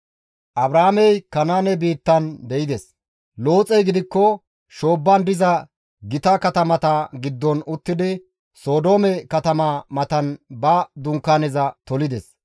Abraamey Kanaane biittan de7ides; Looxey gidikko shoobban diza gita katamata giddon uttidi Sodoome katama matan ba Dunkaaneza tolides.